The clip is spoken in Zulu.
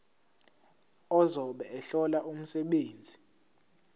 ozobe ehlola umsebenzi